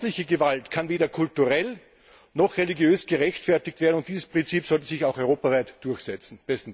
Häusliche Gewalt kann weder kulturell noch religiös gerechtfertigt werden, und dieses Prinzip sollte sich auch europaweit durchsetzen.